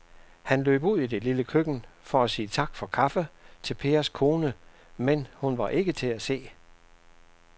Han løb ud i det lille køkken for at sige tak for kaffe til Pers kone, men hun var ikke til at se.